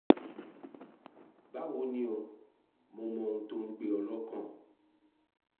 báwo ni o? mo mọ ohun tó ń gbé ọ lọ́kàn